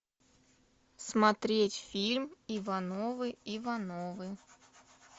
смотреть фильм ивановы ивановы